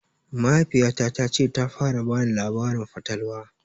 Mahaifiya ta ce ta fara bani labarin fatalwa